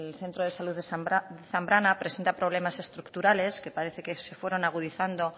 centro de salud de zambrana presenta problemas estructurales que parece que se fueron agudizando